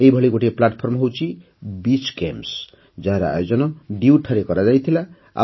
ଏହିଭଳି ଗୋଟିଏ ମାଧ୍ୟମ ହେଉଛି ବିଚ୍ ଗେମ୍ସ ଯାହାର ଆୟୋଜନ ଡିୟୁଠାରେ କରାଯାଇଥିଲା